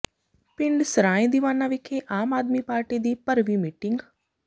ਪਿੰਡ ਸਰਾਂਏ ਦੀਵਾਨਾ ਵਿਖੇ ਆਮ ਆਦਮੀ ਪਾਰਟੀ ਦੀ ਭਰਵੀਂ ਮੀਟਿੰਗ